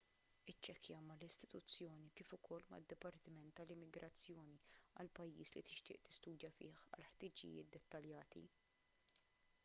iċċekkja mal-istituzzjoni kif ukoll mad-dipartiment tal-immigrazzjoni għall-pajjiż li tixtieq tistudja fih għal ħtiġijiet dettaljati